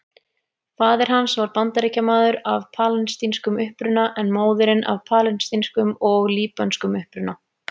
Faðir hans var Bandaríkjamaður af palestínskum uppruna en móðirin af palestínskum og líbönskum uppruna.